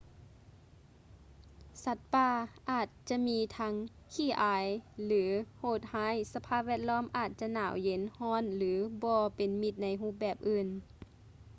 ສັດປ່າ ອາດຈະມີທັງ ຂີ້ອາຍ ຫຼື ໂຫດຮ້າຍ ສະພາບແວດລ້ອມ ອາດຈະໜາວເຢັນ ຮ້ອນ ຫຼື ບໍ່ເປັນມິດໃນຮູບແບບອື່ນ